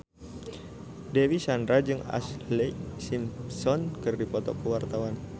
Dewi Sandra jeung Ashlee Simpson keur dipoto ku wartawan